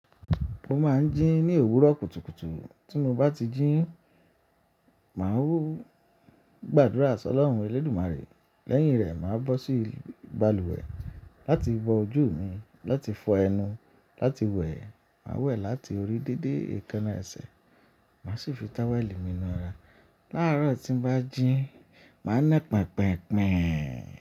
Mo máa ń jí ní òwúrọ̀ kùtùkùtù. Tí mo bá ti jí, màá wọ gbàdúrà sí Ọlọ́run Elédùmarè. Lẹ́yìn rẹ̀, màá bọ́ sí ìbalùwẹ̀ láti bọ ojú mi, láti fọ ẹnu, láti wẹ̀. Màá wẹ̀ láti orí dédé èékánná ẹsẹ̀. Màá sì fi táwẹ́ẹ̀lì mi nú ara. Láàárọ̀ tí m bá jí, màá ná pẹpẹ̀pẹ̀pẹ̀